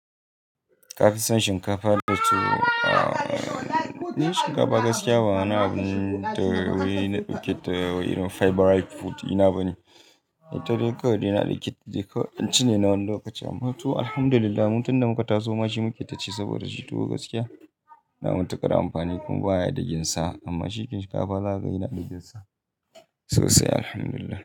Ka fi son shinkafa da tuwo? Ni shinkafa gaskiya ba wani abun da wai na ɗauke ta irin favourite food ina ba ne. Sai ta dai kawai ina da yake cin ne na wani lokaci amma tuwo Alhamdulillah mutum da muka taso ma shi muke ci saboda shi tuwo gaskiya yana mun takara amfani kuma baya da ginsa amma cikin shinkafa za ka gani yana da ginsa sosai Alhamdulillah.